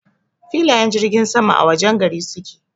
Filayen jirgin sama a wajen gari suke.